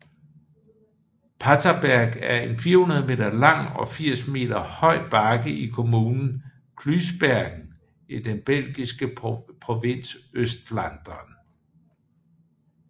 Paterberg er en 400 meter lang og 80 meter høj bakke i kommunen Kluisbergen i den belgiske provins Østflandern